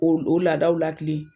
O laadaw lakilen.